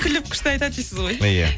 күліп күшті айтат дейсіз ғой иә